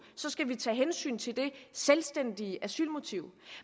skal vi tage hensyn til det selvstændige asylmotiv